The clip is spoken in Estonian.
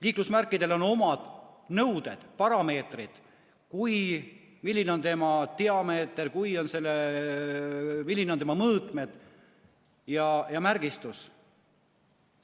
Liiklusmärkidele on omad nõuded, parameetrid, milline on tema diameeter, millised on tema mõõtmed ja märgistus.